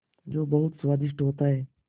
जो बहुत स्वादिष्ट होता है